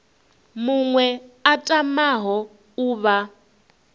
muṅwe a tamaho u vha